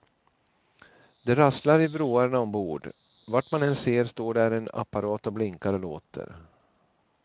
Det rasslar i vrårna ombord, vart man än ser står där en apparat och blinkar och låter.